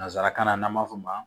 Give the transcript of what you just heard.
Nanzarakan na n'an b'a f'o ma